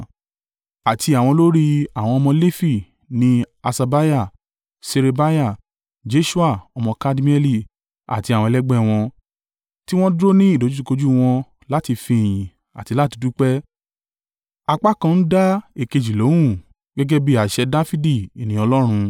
Àti àwọn olórí àwọn ọmọ Lefi ni Haṣabiah, Ṣerebiah, Jeṣua ọmọ Kadmieli, àti àwọn ẹlẹgbẹ́ wọn, tí wọ́n dúró ní ìdojúkojú wọn láti fi ìyìn àti láti dúpẹ́, apá kan ń dá èkejì lóhùn, gẹ́gẹ́ bí àṣẹ Dafidi ènìyàn Ọlọ́run.